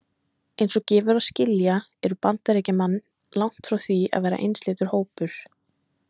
Eins og gefur að skilja eru Bandaríkjamenn langt frá því að vera einsleitur hópur.